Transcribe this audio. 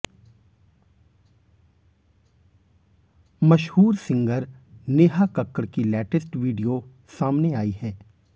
मशहूर सिंगर नेहा कक्कड़ की latest video सामने आई है